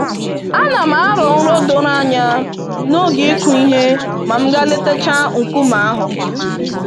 Anam arọ nrọ doro anya n'oge ịkụ ihe ma m gaa letachaa nkume ahụ.